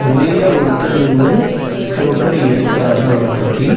வெளியில ஒடுத்தர் நின்னு ஃபோட்டோ எடுக்குறாரு அவரப்பத்தி.